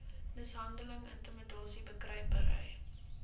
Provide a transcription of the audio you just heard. mishandeling intimidasie bekruipery